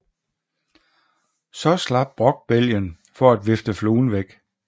Så slap Brokk bælgen for at vifte fluen væk